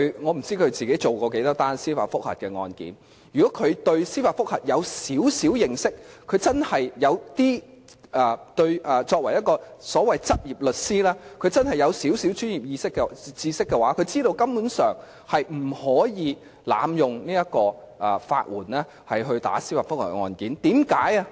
我不知道他自己曾處理多少宗司法覆核案件，如果他對司法覆核稍有認識，又或者他作為執業律師，如果他有少許專業知識的話，他便會知道根本不可能濫用法援提出司法覆核的法律程序。